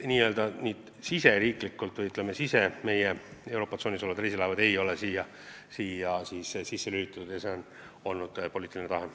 Nii-öelda Euroopa tsoonis sõitvad reisilaevad ei ole siia lülitatud ja see on olnud poliitiline tahe.